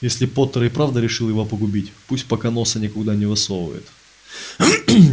если поттер и правда решил его погубить пусть пока носа никуда не высовывает